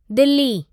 Delhi